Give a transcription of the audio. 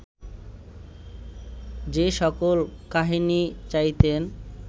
যে সকল কাহিনী চাইতেন